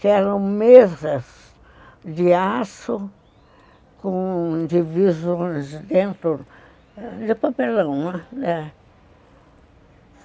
Que eram mesas de aço com divisões dentro de papelão, né?